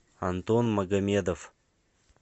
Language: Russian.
антон магомедов